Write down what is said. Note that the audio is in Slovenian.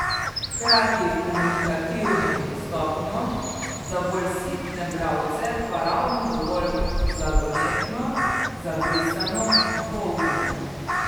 Hkrati komunikativno in dostopno, za bolj sitne bralce pa ravno dovolj zagonetno, zabrisano, dvoumno.